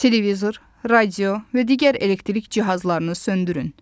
Televizor, radio və digər elektrik cihazlarını söndürün.